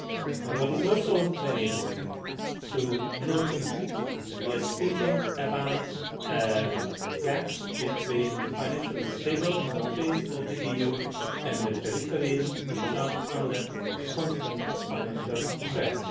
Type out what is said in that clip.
soon. But it is also very important to notice that we are speaking about a gap between the financially stable countries of the EU and the peripheries, which are under constant financial